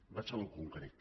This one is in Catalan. vaig al concret